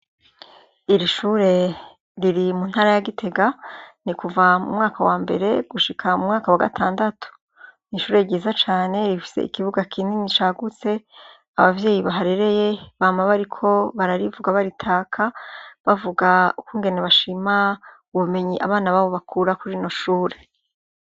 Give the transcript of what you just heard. Iri shure riri mu ntara ya Gitega, ni kuva mu mwaka wa mbere gushika mu mwaka wa gatandatu. Ni ishure ryiza cane, rifise ikibuga kinini cagutse, abavyeyi baharereye bama bariko bararivuga baritaka, bavuga ukungene bashima ubumenyi abana babo bakura ku rino shure.